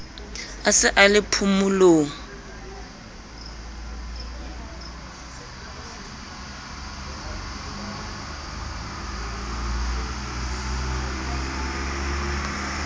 a se a le phomolong